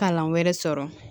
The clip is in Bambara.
Kalan wɛrɛ sɔrɔ